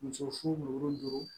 Muso fu